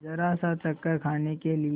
जरासा चक्कर खाने के लिए